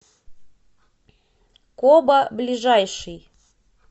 коба ближайший